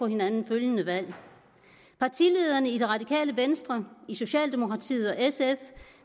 hinanden følgende valg partilederne i det radikale venstre i socialdemokratiet og i sf